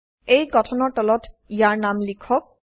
এই গঠনৰ তলত ইয়াৰ নাম লিখক